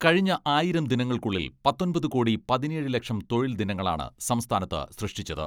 കഴിഞ്ഞ ആയിരം ദിനങ്ങൾക്കുള്ളിൽ പത്തൊമ്പത് കോടി പതിനേഴ് ലക്ഷം തൊഴിൽ ദിനങ്ങളാണ് സംസ്ഥാനത്ത് സൃഷ്ടിച്ചത്.